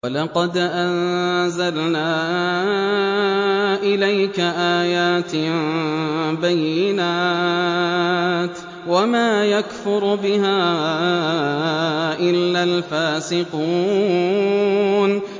وَلَقَدْ أَنزَلْنَا إِلَيْكَ آيَاتٍ بَيِّنَاتٍ ۖ وَمَا يَكْفُرُ بِهَا إِلَّا الْفَاسِقُونَ